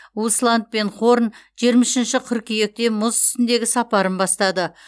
усланд пен хорн жиырма үшінші қыркүйекте мұз үстіндегі сапарын бастады